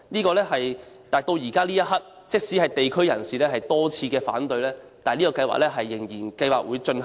然而，到目前這一刻，即使地區人士多次反對，外判計劃仍然會進行。